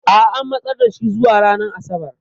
A'a, an matsar da shi zuwa ranar Asabar.